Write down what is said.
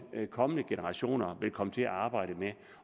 kommende generationer vil komme til at arbejde med